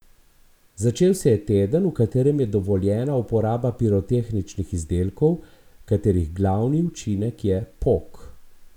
Začel se je teden, v katerem je dovoljena uporaba pirotehničnih izdelkov, katerih glavni učinek je pok.